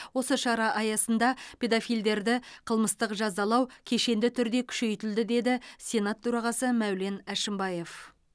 осы шара аясында педофильдерді қылмыстық жазалау кешенді түрде күшейтілді деді сенат төрағасы мәулен әшімбаев